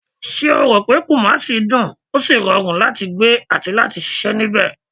Ṣé o ròpé kumasi dùn, ó sì rọrùn láti gbé àti ṣiṣẹ́ nibẹ ni?